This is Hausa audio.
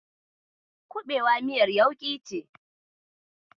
Kuɓewa miyar yauƙi ce.